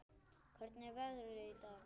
Hvernig er veðrið í dag?